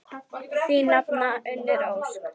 Þín nafna, Unnur Ósk.